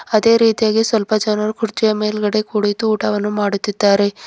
ಅದೇ ರೀತಿಯಾಗಿ ಸ್ವಲ್ಪ ಜನರು ಕುರ್ಚಿಯ ಮೇಲ್ಗಡೆ ಕುಳಿತು ಊಟವನ್ನು ಮಾಡುತ್ತಿದ್ದಾರೆ.